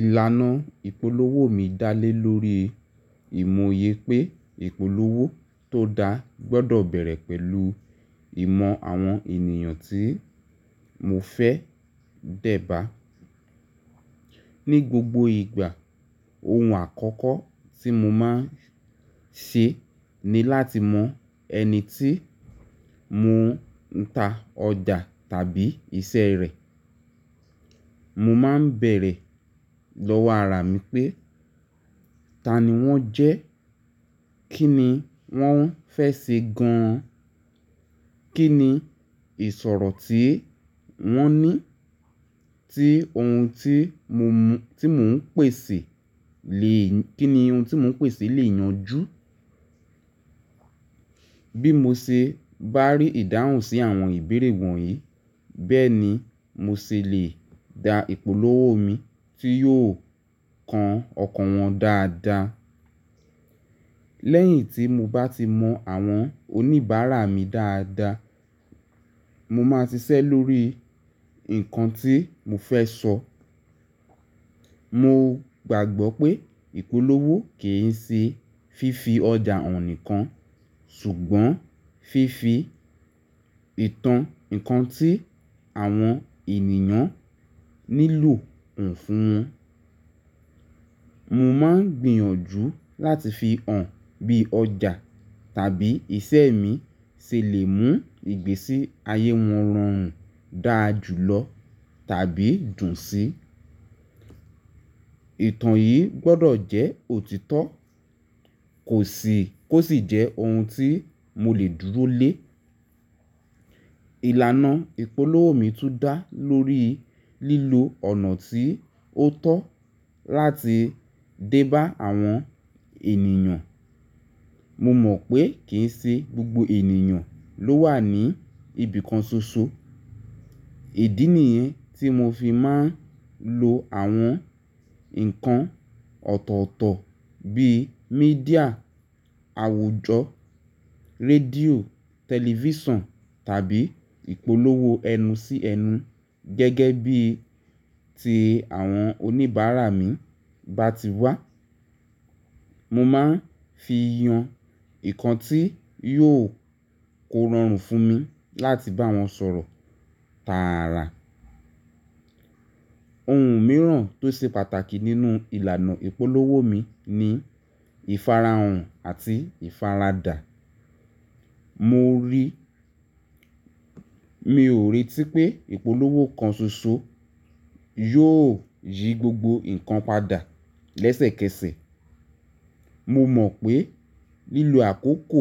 Ìlànà ìpolówó mi dá lé lórí ìmòye pé ìpolówó tó da gbọ́dọ̀ bẹ̀rẹ̀ pẹ̀lú ìmọ̀ àwọn ènìyàn tí mo fẹ́ dẹ́ba. Ní gbogbo ìgbà ohun àkọ́kọ́ tí mo máa ń ṣe ni láti mọ ẹni tí mò ń ta ọjà tàbí iṣẹ́ rẹ̀. Mò máa ń bẹ̀rẹ̀ lọ́wọ́ ara mi pé ta ni wọ́n jẹ́? Kí ni wọ́n fẹ́ ṣe gan an? Kí ni ìṣòro tí wọ́n ní tí ohun tí mò ń pèsè lè yanjú? Bí mo ṣe bá rí ìdáhùn sí àwọn ìbéèrè wọ̀nyí, bẹ́ẹ̀ ni mo ṣe lè da ìpolówó mi tí yóò kan ọkàn wọn dáadáa. Lẹ́yìn tí mo bá ti mọ àwọn oníbàárà mi dáadáa, mo máa ṣiṣẹ́ lórí nǹkan tí mo fẹ́ sọ. Mo gbàgbọ́ pé ìpolówó kì í ṣe fífi ọjà hàn nìkan ṣùgbọ́n fífi ìtàn nǹkan tí àwọn ènìyàn nílò hàn fún wọn. Mo máa ń gbìyànjú láti fi hàn bí ọjà tàbí iṣẹ́ mi ṣe lè mú ìgbésí ayé wọn rọrùn dáàjú lọ tàbí dùn si Ìtàn yìí gbọ́dọ̀ jẹ́ òtítọ́, kò sì jẹ́ ohun tí mo lè dúró lé. Ìlànà ìpolówó mi tún dá lórí lílo ọ̀nà tí ó tọ́ láti dé bá àwọn ènìyàn. Mo mọ̀ pé kì í ṣe gbogbo ènìyàn ló wà ní ibìkan ṣoṣo. Èdí nìyẹn tí mo fi máa ń lo àwọn nǹkan ọ̀tọ̀ọ̀tọ̀ bíi míḍíà àwùjọ, rédíò, tẹlifíṣàn tàbí ìpolówó ẹnu sí ẹnu gẹ́gẹ́ bí i tí àwọn oníbàárà mi bá ti wá. Mo máa ń fi yan nǹkan tí yóò kó rọrùn fún mi láti bá wọn sọ̀rọ̀ tààrà. Ohun mìíràn tó ṣe pàtàkì nínú ìlànà ìpolówó mi ni ìfarahàn àti ìfaradà. Mi ò ríi tí pé ìpolówó kan ṣoṣo yóò yí gbogbo nǹkan padà lẹ́sẹ̀kẹsẹ̀. Mo mọ̀ pé lílo àkókò